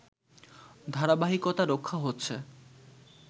ধারাবাহিকতা রক্ষা হচ্ছে